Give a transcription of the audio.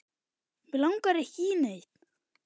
Mig langar ekki í neitt.